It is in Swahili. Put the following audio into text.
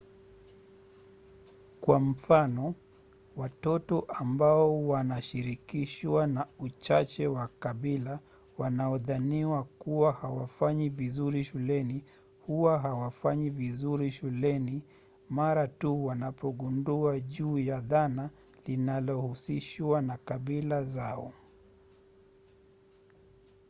kwa mfano watoto ambao wanashirikishwa na uchache wa kabila wanaodhaniwa kuwa hawafanyi vizuri shuleni huwa hawafanyi vizuri shuleni mara tu wanapogundua juu ya dhana linalohusishwa na kabila zao